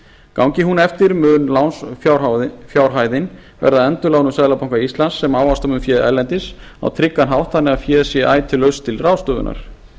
gangi hún eftir mun lánsfjárhæðin verða endurlánuð seðlabanka íslands sem ávaxta mun féð erlendis á tryggan hátt þannig að féð sé ætíð laust til ráðstöfunar